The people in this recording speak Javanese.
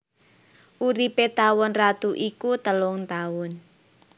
Uripé tawon ratu iku telung taun